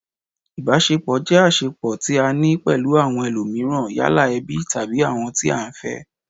Ìbáṣepọ̀ jẹ́ àṣẹpọ̀ tí a ní pẹ̀lú àwọn ẹlómííràn, yálà ẹbí, tàbí àwọn tí à ń fẹ́